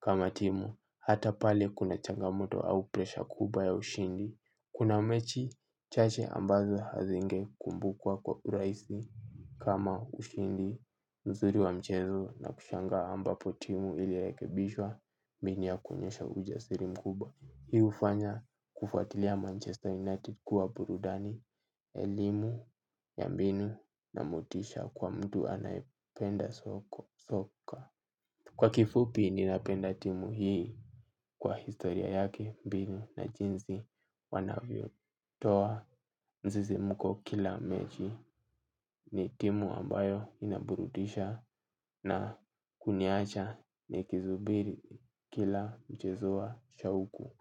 kama timu. Hata pale kuna changamoto au presha kubwa ya ushindi. Kuna mechi chache ambazo hazinge kumbukwa kwa urahisi kama ushindi. Nzuri wa mchezo na kushangaa ambapo timu iliyorekebishwa mbinu ya kuonyesha ujasiri mkubwa. Hii hufanya kufuatilia Manchester United kuwa burudani. Elimu ya mbinu na motisha kwa mtu anayependa soka. Kwa kifupi ninapenda timu hii kwa historia yake mbinu na jinsi wanavyo toa msisimuko kila mechi ni timu ambayo inaburudisha na kuniacha nikisubiri kila mchezo wa shauku.